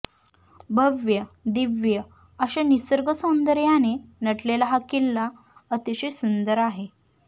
भव्य दिव्य अशा निसर्ग सौंदर्याने नटलेला हा किल्ला अतिशय सुंदर आहे